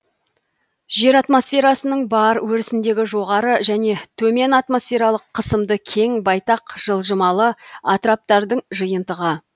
жер атмосферасының бар өрісіндегі жоғары және төмен атмосфералық қысымды кең байтақ жылжымалы атыраптардың жиынтығы